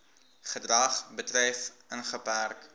gedrag betref ingeperk